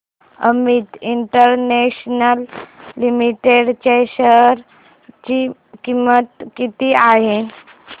Amit international limited च्या share ची किंमत किती आहे